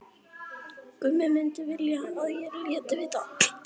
Gummi myndi vilja að ég léti vita.